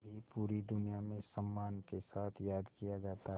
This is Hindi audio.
भी पूरी दुनिया में सम्मान के साथ याद किया जाता है